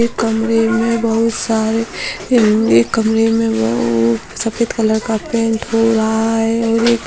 यह कमरे में बहुत सारे म यह कमरे में वो सफेद कलर का पैंट हो रहा है और ये--